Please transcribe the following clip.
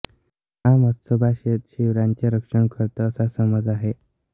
हा म्ह्सोबा शेत शिवाराचे रक्षण करतो असा समज आहे